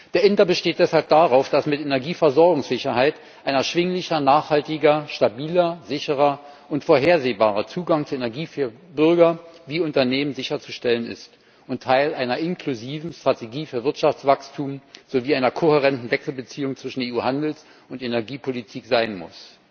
Der INTA besteht deshalb darauf, dass mit Energieversorgungssicherheit ein erschwinglicher, nachhaltiger, stabiler, sicherer und vorhersehbarer Zugang zu Energie für Bürger wie Unternehmen sicherzustellen ist und Teil einer inklusiven Strategie für Wirtschaftswachstum sowie einer kohärenten Wechselbeziehung zwischen EU Handels und Energiepolitik sein muss.